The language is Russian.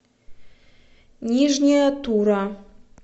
нижняя тура